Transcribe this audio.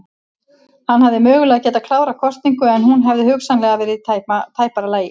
Hann hefði mögulega getað klárað kosningu en hún hefði hugsanlega verið í tæpara lagi.